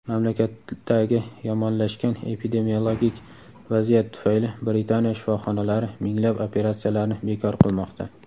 Mamlakatdagi yomonlashgan epidemiologik vaziyat tufayli Britaniya shifoxonalari minglab operatsiyalarni bekor qilmoqda.